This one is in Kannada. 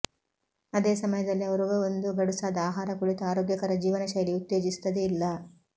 ಅದೇ ಸಮಯದಲ್ಲಿ ಅವರು ಒಂದು ಗಡುಸಾದ ಆಹಾರ ಕುಳಿತು ಆರೋಗ್ಯಕರ ಜೀವನಶೈಲಿ ಉತ್ತೇಜಿಸುತ್ತದೆ ಇಲ್ಲ